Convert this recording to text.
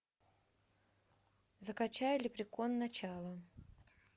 закачай лепрекон начало